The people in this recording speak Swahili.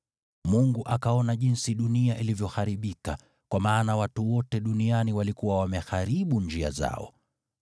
Mungu akaona jinsi dunia ilivyoharibika, kwa maana watu wote duniani walikuwa wameharibu njia zao.